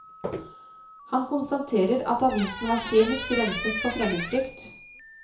Han konstaterer at avisen var kjemisk renset for fremmedfrykt.